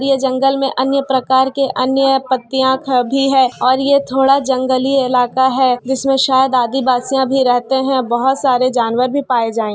ये जंगल में अन्य प्रकार के अन्य पत्तियां भी है और ये थोड़ा जंगली इलाका है जिसमे शायद आदिवासियां भी रहते है बहुत सारे जानवर भी पाए जाय --